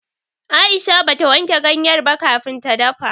Aisha bata wanke ganyar ba kafin ta dafa.